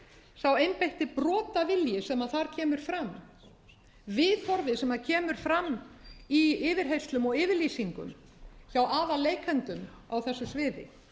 sá einbeitti brotavilji sem þar kemur fram viðhorfið sem kemur fram í yfirheyrslum og yfirlýsingum hjá aðalleikendum á þessu sviði